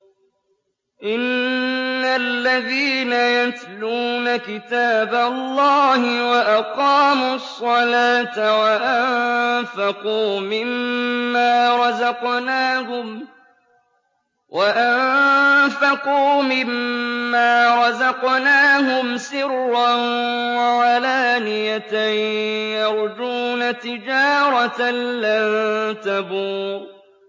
إِنَّ الَّذِينَ يَتْلُونَ كِتَابَ اللَّهِ وَأَقَامُوا الصَّلَاةَ وَأَنفَقُوا مِمَّا رَزَقْنَاهُمْ سِرًّا وَعَلَانِيَةً يَرْجُونَ تِجَارَةً لَّن تَبُورَ